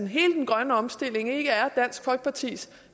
hele den grønne omstilling ikke er dansk folkepartis